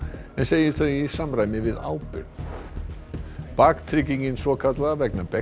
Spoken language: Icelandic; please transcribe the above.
en segir þau í samræmi við ábyrgð baktryggingin svokallaða vegna